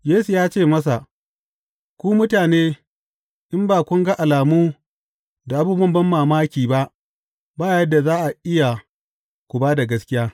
Yesu ya ce masa, Ku mutane, in ba kun ga alamu da abubuwan banmamaki ba, ba yadda za a yi ku ba da gaskiya.